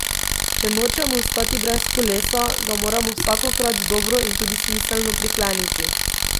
Če nočemo ostati brez kolesa, ga moramo vsakokrat dobro in tudi smiselno prikleniti.